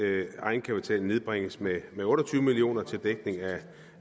at egenkapitalen nedbringes med otte og tyve million kroner til dækning